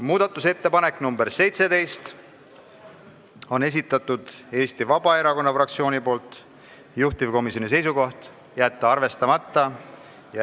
Muudatusettepanek nr 17 on Eesti Vabaerakonna fraktsiooni esitatud, juhtivkomisjoni seisukoht: jätta arvestamata.